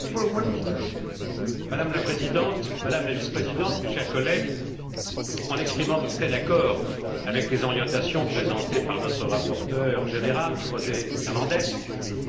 Madame la Présidente, Madame la Vice présidente, mes chers collègues, en exprimant mon plein accord avec les orientations présentées par notre rapporteur général, José Manuel Fernandes, je veux exprimer deux souhaits.